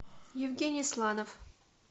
евгений сланов